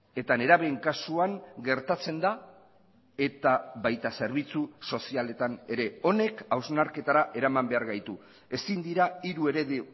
eta nerabeen kasuan gertatzen da eta baita zerbitzu sozialetan ere honek hausnarketara eraman behar gaitu ezin dira hiru eredu